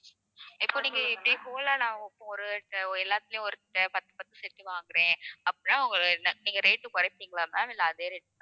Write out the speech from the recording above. இப்போ நீங்க இப்படியே whole அ நான் ஒரு எல்லாத்திலேயும் ஒரு பத்து பத்து set வாங்குறேன். அப்புறம் நா~ நீங்க rate ஐ குறைப்பீங்களா ma'am இல்லை அதே rate